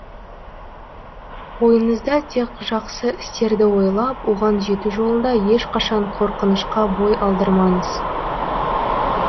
ойыңызда тек жақсы істерді ойлап оған жету жолында ешқашан қорқынышқа бой алдырмаңыз